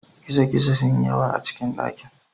Gizo-gizo sun yi yawa a cikin dakin.